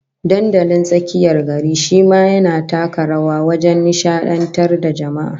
Dandalin tsakiyar gari shi ma yana taka rawa wajen nishadantar da jama'a